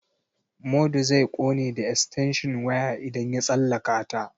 Modu zai ƙone da estenshin waya idan ya tsallaka ta.